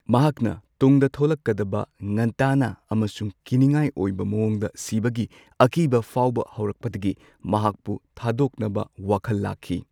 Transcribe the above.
ꯃꯍꯥꯛꯅ ꯇꯨꯡꯗ ꯊꯣꯛꯂꯛꯀꯗꯕ ꯉꯟꯇꯥꯅ ꯑꯃꯁꯨꯡ ꯀꯤꯅꯤꯡꯉꯥꯏ ꯑꯣꯏꯕ ꯃꯋꯣꯡꯗ ꯁꯤꯕꯒꯤ ꯑꯀꯤꯕ ꯐꯥꯎꯕ ꯍꯧꯔꯛꯄꯗꯒꯤ ꯃꯍꯥꯛꯄꯨ ꯊꯥꯗꯣꯛꯅꯕ ꯋꯥꯈꯜ ꯂꯥꯛꯈꯤ꯫